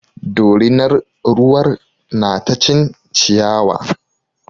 Dorinar ruwar na ta cin ciyawa.